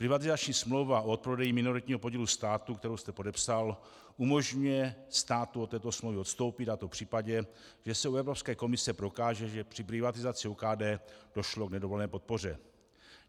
Privatizační smlouva o odprodeji minoritního podílu státu, kterou jste podepsal, umožňuje státu od této smlouvy odstoupit, a to v případě, že se u Evropské komise prokáže, že při privatizaci OKD došlo k nedovolené podpoře.